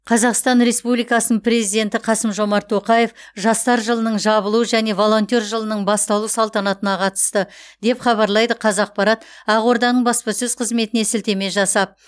қазақстан республикасының президенті қасым жомарт тоқаев жастар жылының жабылу және волонтер жылының басталу салтанатына қатысты деп хабарлайды қазақпарат ақорданың баспасөз қызметіне сілтеме жасап